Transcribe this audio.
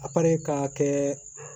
A kari ka kɛ